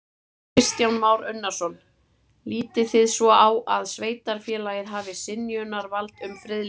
Kristján Már Unnarsson: Lítið þið svo á að sveitarfélagið hafi synjunarvald um friðlýsingu?